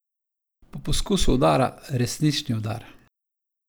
Po poskusu udara resnični udar?